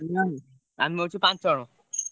ନାଇଁ ଆମେ ଅଛୁ ପାଞ୍ଚଜଣ।